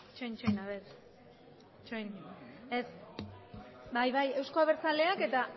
itxaron itxaron ez bai bai euzko abertzaleak eta